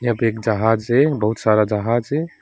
यहाँ पे एक जहाज है बहुत सारा जहाज है।